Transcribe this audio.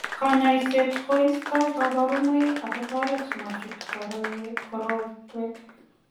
Kanyoiset koisto kabarunoik ak kotoret ma chut korotwek.